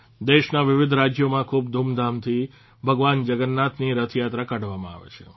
દેશના વિવિધ રાજયોમાં ખૂબ ધૂમધામથી ભગવાન જગન્નાથની રથયાત્રા કાઢવામાં આવે છે